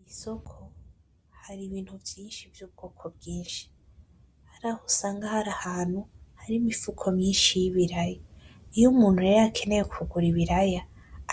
Mw'isoko hari ibintu vyinshi vy'ubwoko bwinshi, harah'usanga har'ahantu hari imifuko myinshi y'ibiraya, iyo umuntu rero akeneye kugura ibiraya